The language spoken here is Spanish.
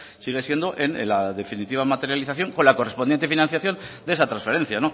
sigue siendo la definitiva materialización con la correspondiente financiación de esa transferencia